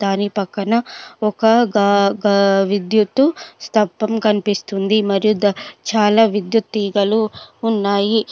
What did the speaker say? దాని పక్కన ఒక గా కా విద్యుత్తు స్తప్పం కనిపిస్తుంది మరియు దా చాలా విద్యుత్ తీగలు ఉన్నాయి